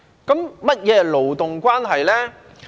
何謂勞動關係呢？